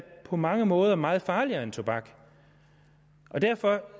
på mange måder meget farligere end tobak og derfor